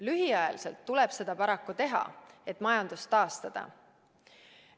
Lühiajaliselt tuleb seda paraku teha, et majandust taastada.